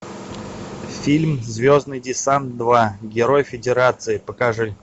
фильм звездный десант два герой федерации покажи